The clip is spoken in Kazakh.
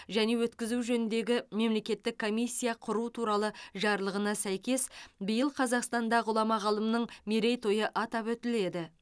және өткізу жөніндегі мемлекеттік комиссия құру туралы жарлығына сәйкес биыл қазақстанда ғұлама ғалымның мерейтойы атап өтіледі